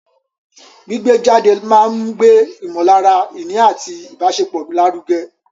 Gbígbé jáde máa ń gbé ìmọ̀lára ìní àti ìbáṣepọ̀ lárugẹ.